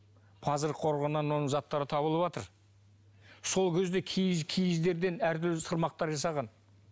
қорығынан оның заттары табылыватыр сол кезде киіз киіздерден әртүрлі сырмақтар жасаған